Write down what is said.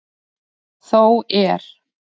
Þó er.